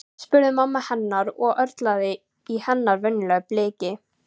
spurði mamma hennar og það örlaði á hennar venjulega bliki.